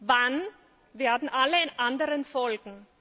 Wann werden alle anderen folgen?